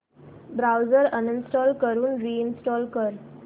browser uninstall करून reinstall कर